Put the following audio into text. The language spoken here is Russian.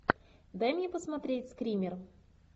дай мне посмотреть скример